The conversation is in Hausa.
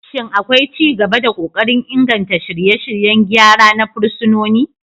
Shin akwai ci gaba da kokarin inganta shirye-shiryen gyara na fursunoni?